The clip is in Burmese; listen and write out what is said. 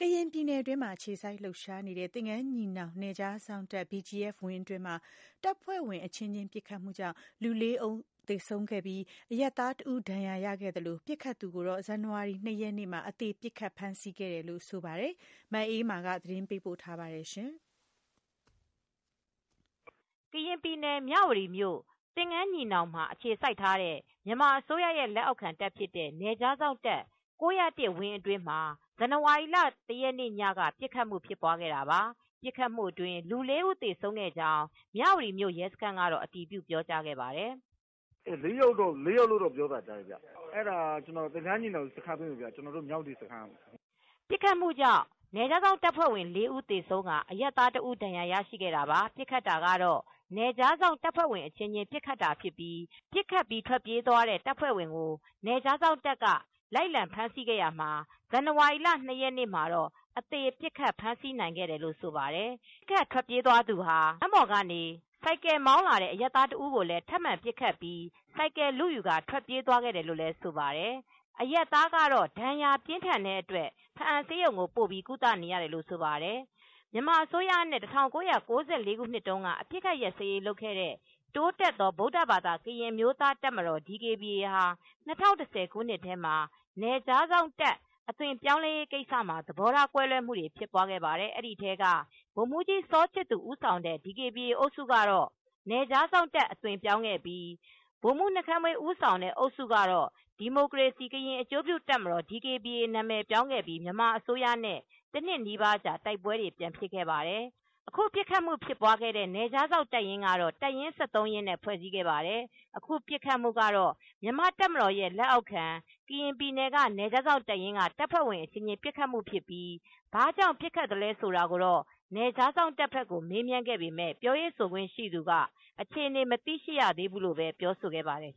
ကရင်ပြည်နယ်၊ တွင်းမှာအခြေစိုက်လှုပ်ရှားနေတဲ့ သင်္ကန်းညီနောင် နယ်ခြားစောင့်တပ် (BGF) ဝင်းအတွင်းမှာတပ်ဖွဲ့ဝင်အချင်းချင်းပစ်ခတ်မူကြောင့်လူ ၄ဦး သေဆုံးပြီး အရပ်သားတဦး ဒဏ်ရာရခဲ့သလို ပစ်ခတ်သူကိုတော့ ဇန်နဝါရီလ ၂ရက်နေ့ မှာ အသေပစ်ခတ်ဖမ်းဆီးခဲ့တယ် လို့ ဆိုပါတယ်။ ထိုင်းအခြေစိုက် VOA သတင်းထောက် မအေးအေးမာက သတင်းပေးပို့ ထားပါတယ်။ ကရင်ပြည်နယ် မြဝတီမြို့၊ သင်္ဃန်းညီနောင်တွင် အခြေစိုက်တဲ့ မြန်မာအစိုးရ လက်အောက်ခံတပ် ဖြစ်တဲ့ နယ်ခြားစောင့်တပ် ၉၀၁ ဝင်းအတွင်းမှာ ဇန်နဝါရီ(၁)ရက် ညက ပစ်ခတ်မူဖြစ်ပွားခဲ့တာပါ။ ပစ်ခတ်မူအတွင်း လူ၄ဦး သေဆုံးခဲ့ကြောင်း မြဝတီမြို့ရဲစခန်းကတော့ အတည်ပြုပြောကြားပါတယ်။ " ၄ယောက်လို့တော့ပြောတယ်ဗျ၊ အဲဒါ သင်္ကန်းညီနောင် ရဲစခန်းဘက်ကဗျ။ ကျနော်တို့မြဝတီဘက်ကတော့ မဟုတ်ဘူး" ပစ်ခတ်မှုကြောင့် BGF တပ်ဖွဲ့ဝင် လေးဦးသေဆုံးကာ အရပ်သား တစ်ဦး ဒဏ်ရာ ရရှိခဲ့တာပါ။ ပစ်ခတ်တာကတော့ ပစ်ခတ်ပြီး ထွက်ပြေးသွားတဲ့ တပ်ဖွဲ့ ဝင်ကိုတော့ နယ်ခြားစောင့်တပ် က လိုက်လံဖမ်းဆီးရာမှာ နယ်ခြားစောင့်တပ်ဖွဲ့ဝင် အချင်းအချင်း ပစ်ခတ်တာဖြစ်ပြီး ဇန်နဝါရီလ ၂ရက်နေ့မှာတော့ အသေ ဖမ်း ပစ်ခတ် ဖမ်းမိခဲ့တယ်လို့ ဆိုပါတယ်။ ပစ်ခတ်ထွက်ပြေးသူဟာ လမ်းပေါ်ကနေ ဆိုင်ကယ်မောင်းလာသူအရပ်သားတဦးကို ထပ်မံပစ်ခတ်ပြီး ဆိုင်ကယ်လုယူကာ ထွက်ပြေးသွားခဲ့တယ် လို့လည်း ဆိုပါတယ်။ အရပ်သားကတော့ ဒဏ်ရာပြင်းထန်တဲ့အတွက် ဘားအံဆေးရုံကို ပို့ပြီး ကုသနေရတယ်လို့ ဆိုပါတယ်။ မြန်မာအစိုးရနဲ့ ၁၉၉၄ခုနှစ်တုန်းကအပစ်အခတ်ရပ်စဲရေးလုပ်ခဲ့တဲ့ တိုးတက်သော ဗုဒ္ဓဘာသာ ကရင်အမျိုးသားတပ်မတော် (ဒီကေဘီအေ) ဟာ ၂၀၁၀ခုနှစ်ထဲမှာ နယ်ခြားစောင့်တပ်အဖြစ်အသွင်ပြောင်းရေးမှာသဘောကွဲလွဲမူတွေဖြစ်ခဲ့ပါတယ်။ ဒီထဲက ဗိုလ်မူးကြီး စာချစ်သူ ဦးဆောင်တဲ့ DKBA အုပ်စုက နယ်ခြားစောင့် တပ်အဖြစ် အသွင်ပြောင်းခဲ့ပြီး ဗိုလ်မူးနှုတ်ခမ်းမွေး ဦးဆောင်တဲ့အုပ်စုကတော့ ဒီမိုကရေစီ ကရင်အကျိုးပြုတပ်မတော် ဒီကေဘီအေ နာမည်ပြောင်းခဲ့ပြီး မြန်မာအစိုးရနဲ့ တနှစ်နီးပါးကြာ တိုက်ပွဲတွေ ပြန်ဖြစ်ခဲ့ပါတယ်။ အခုပစ်ခတ်မူဖြစ်ပွားခဲ့တဲ့ နယ်ခြားစောင့်တပ်ရင်းကတော့ တပ်ရင်း ၁၃ရင်းနဲ့ဖွဲစည်းထားပါတယ်။ အခုပစ်ခတ်မူကတော့ မြန်မာတပ်မတော် ရဲလက်အောက်ခံ ကရင်ပြည်နယ်က နယ်ခြားစောင့် တပ်ရင်းက တပ်ဖွဲဝင်အချင်းချင်းပစ်ခတ်မူဖြစ်ပြီး ဘာကြောင့် ပစ်ခတ်သလဲဆိုတာ နယ်ခြာစောင့်တပ်ဘက်ကို မေးမြန်းခဲ့ပေမဲ့ ပြောရေးဆိုခွင့်ရှိသူက အခြေအနေ မသိရှိရသေးဘူးလို့ပဲ ပြောဆိုခဲ့ပါတယ်